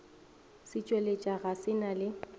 setšweletša ga se na le